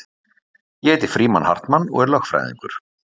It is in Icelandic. Ég heiti Frímann Hartmann og er lögfræðingur